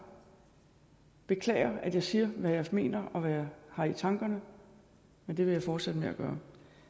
beklager at jeg siger hvad jeg mener og hvad jeg har i tankerne men det vil jeg fortsætte med at gøre